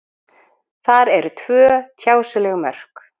Þar eru tvö tjásuleg mörk.